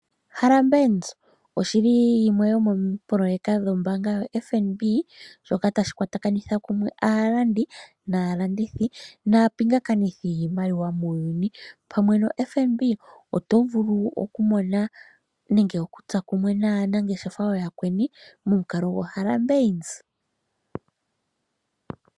Harambeans oshi li yimwe yomoopololeka dhombaaanga yo FNB shoka tashi kwatakanitha kumwe aalandi naalandithi, naapingakanithi yiimaliwa muuyuni. Pamwe no FNB oto vulu okumona nenge okutsa kumwe naanangeshefa ooyakweni momukalo goHarambeans.